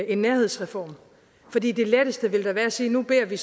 en nærhedsreform fordi det letteste ville da være at sige at nu beder vi